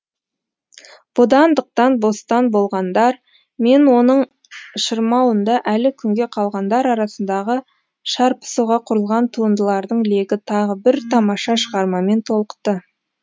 бодандықтан бостан болғандар мен оның шырмауында әлі күнге қалғандар арасындағы шарпысуға құрылған туындылардың легі тағы бір тамаша шығармамен толықты